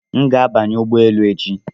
M ga-abanye ụgbọ elu echi